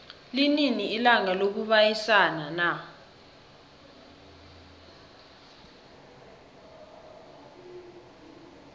linini ilanga lokubayisana na